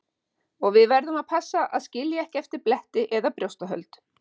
Og við verðum að passa að skilja ekki eftir bletti eða brjóstahöld.